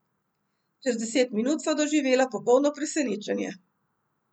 Čez deset minut sva doživela popolno presenečenje.